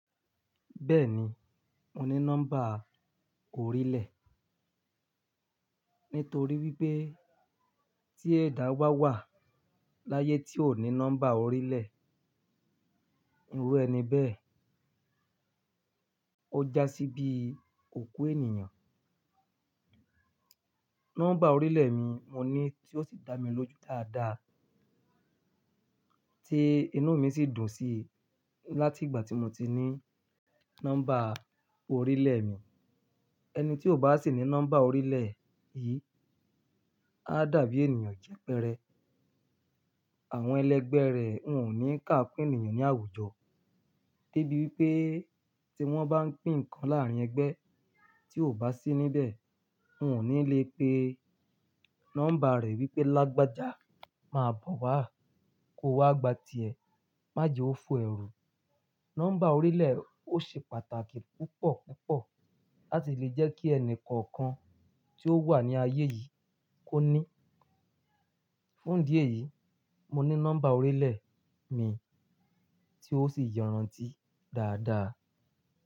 Bẹ́ẹ̀ni, mo ní nọ́mbà orílẹ̀. Nítorí wípé tí ẹ̀dá ba wà láyé tí ò ní nọ́mbà orílẹ̀, irú ẹni bẹ́ẹ̀ ó já sí bí òkú ènìyàn. Nọ́mbà orílẹ̀ mi mo ní tí ó sì dá mi lójú dáadáa, tí inú mi sì dùn sí láti ìgbà tí mo ti ní nọ́mbà orílẹ̀ mi. Ẹni tí ò bá sì ní nọ́mbà orílẹ̀ yìí, á dàbí ènìyàn jẹ́pẹrẹ. Àwọn ẹlẹgbẹ́ rẹ̀ wọn ò ní ká kun ènìyàn ní àwùjọ, dé bí wípé tí wọ́n bá ń pín nǹkan láàárín ẹgbẹ́ tí ò bá sí níbẹ̀, wọn ò ní lè pe nọ́mbà rẹ̀ wípé Lágbaja, máa bọ̀ wá, kó wá gba ti ẹ, májè ó fọ ẹrú. Nọ́mbà orílẹ̀ ó ṣe pàtàkì púpọ̀ púpọ̀ láti lè jẹ́ kí ẹni kọ̀ọ̀kan tí ó wà ní ayé yìí kó ní. Fún ìdí èyí, mo ní nọ́mbà orílẹ̀ mi tí ó sì yọran ti dáadáa.